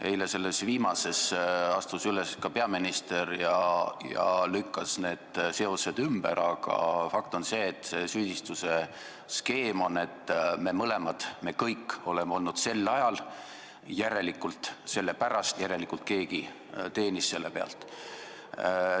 Eile astus sellel teemal üles ka peaminister ja lükkas need seosed ümber, aga fakt on see, et selline süüdistusskeem on, et keegi kunagi teenis selle pealt.